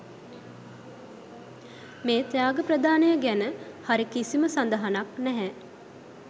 මේ ත්‍යාග ප්‍රදානය ගැන හරි කිසිම සදහනක් නැහැ.